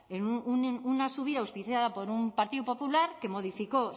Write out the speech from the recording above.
en una subida auspiciada por un partido popular que modificó